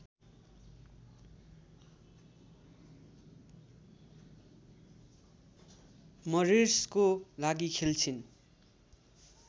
मरिर्सको लागि खेल्छिन्